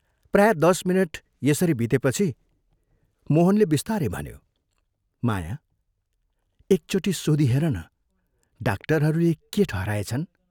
प्राय दश मिनट यसरी बितेपछि मोहनले बिस्तारै भन्यो, "माया, एकचोटि सोधी हेरन डाक्टरहरूले के ठहराएछन्?